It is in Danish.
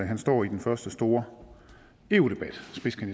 han står i den første store eu debat